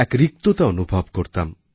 এক রিক্ততা অনুভব করতাম